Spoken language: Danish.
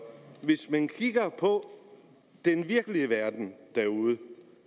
kigger på den virkelige verden derude